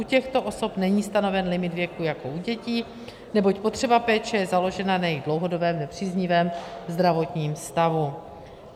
U těchto osob není stanoven limit věku jako u dětí, neboť potřeba péče je založena na jejich dlouhodobém nepříznivém zdravotním stavu.